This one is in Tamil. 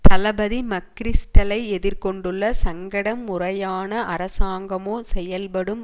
தளபதி மக்கிரிஸ்டலை எதிர் கொண்டுள்ள சங்கடம் முறையான அரசாங்கமோ செயல்படும்